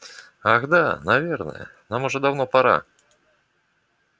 ах да наверное нам уже давно пора